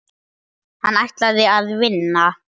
Hann ætlaði að vinna.